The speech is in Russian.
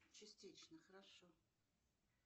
частично хорошо